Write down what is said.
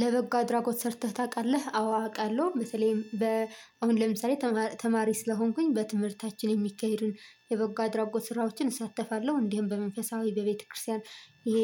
ለበጎ አድራጎት ሰርተህ ታውቃለህ? አዎ አውቃለሁ። በተለይም በ አሁን ለምሳሌ ተማሪ ስለሆንኩኝ በትምህርታችን የሚካሄዱን የበጎ አድራጎት ስራዎችን እሳተፋለው። እንዲህም በመንፈሳዊ በቤተክርስቲያን እሄ